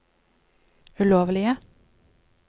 ulovlige